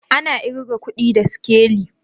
Ana irga kudi da sikeli?